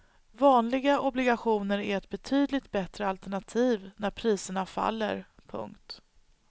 Vanliga obligationer är ett betydligt bättre alternativ när priserna faller. punkt